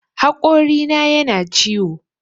Haƙorina yana ciwo